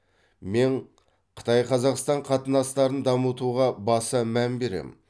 мен қытай қазақстан қатынастарын дамытуға баса мән беремін